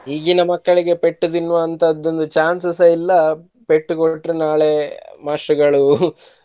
ಈಗಿನ ಮಕ್ಕಳಿಗೆ ಪೆಟ್ಟು ತಿನ್ನುವಂತದ್ದು ಒಂದ್ chance ಸು ಸಹ ಇಲ್ಲಾ ಪೆಟ್ಟು ಕೊಟ್ರೇ ನಾಳೆ ಮಾಸ್ಟ್ರಗಳು .